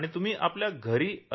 तुम्ही आपल्या घरी जाल अगदी